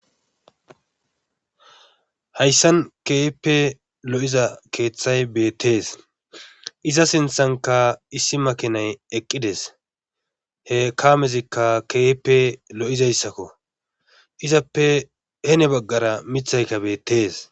Hayssan keehippe lo'iza keeththay beetes. iza sinththankka issi makiinay eqqides. he kamezikka lo'izayssakko. izappe heni bagara mithay beetees.